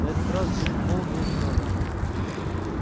на этот раз джим холл был виновен